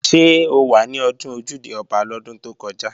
Ṣé o wà ní ọdún Ojúde-Ọba lọ́dún tó kọjá?